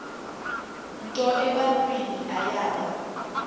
nto ebantwini ayaba